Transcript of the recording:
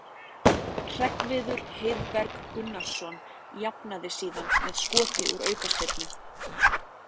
Hreggviður Heiðberg Gunnarsson jafnaði síðan með skoti úr aukaspyrnu.